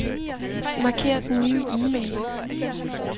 Marker den nye e-mail.